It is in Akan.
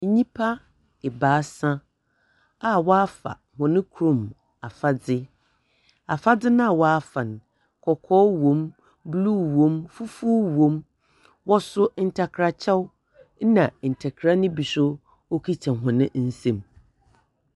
Nyipa ebaasa a wafa wɔn kurom afadze. Afadze n'awafa no kɔkɔɔ wom, bluu wom, fufuw wom. Wɔso ntakra kyɛw, ena ntakra no bi nso ekita wɔn nsam.